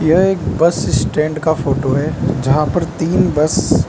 यह एक bus stand का फोटो है जहां पर तीन बस --